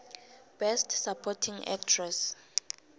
best supporting actress